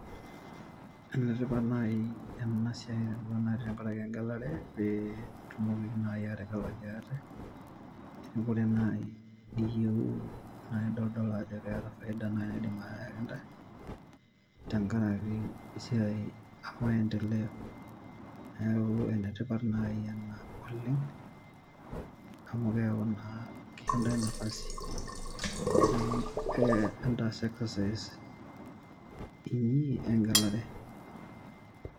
Ene tipat naaji ena siai tenksraki engelare pee itumoki naaji aategelaki ate neeku ore naaji niyieuu naa idol ajo keeta faida nindim ayaki ntae tenkaraki esiai e maendeleo neku ene tipat naaji ena oleng amu keeku naa keisho ntae nafasi entaas exercise inyi engelare.